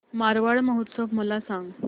मारवाड महोत्सव मला सांग